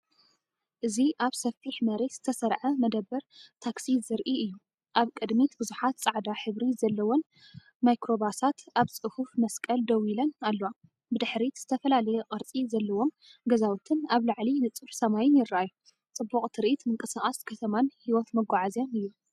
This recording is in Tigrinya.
እዚ ኣብ ሰፊሕ መሬት ዝተሰርዐ መደበር ታክሲ ዘርኢ እዩ። ኣብ ቅድሚት ብዙሓት ጻዕዳ ሕብሪ ዘለወን ማይክሮባሳት ኣብ ጽፉፍ መስቀል ደው ኢለን ኣለዋ፤ ብድሕሪት፡ዝተፈላለየ ቅርጺ ዘለዎም ገዛውትን ኣብ ላዕሊ ንጹር ሰማይን ይረኣዩ። ጽቡቕ ትርኢት ምንቅስቓስ ከተማን ህይወት መጓዓዝያን እዩ።